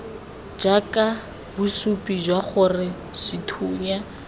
jaaka bosupi jwa gore sethunya